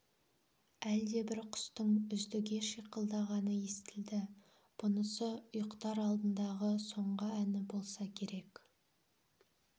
әлдебір құстың үздіге шиқылдағаны естілді бұнысы ұйықтар алдындағы соңғы әні болса керек